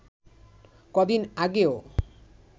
কদিন আগেও